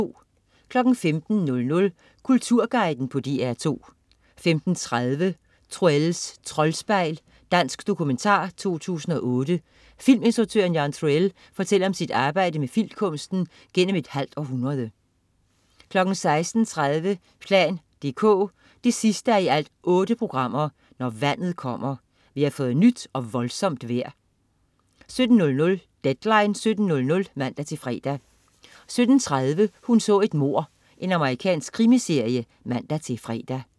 15.00 Kulturguiden på DR2 15.30 Troells Troldspejl. Dansk dokumentar 2008. Filminstruktøren Jan Troell, fortæller om sit arbejde med filmkunsten gennem et halvt århundrede 16.30 plan dk 8:8. Når vandet kommer. Vi har fået nyt og voldsomt vejr 17.00 Deadline 17.00 (man-fre) 17.30 Hun så et mord. Amerikansk krimiserie (man-fre)